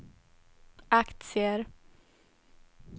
aktier